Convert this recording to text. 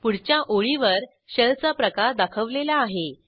पुढच्या ओळीवर शेल चा प्रकार दाखवलेला आहे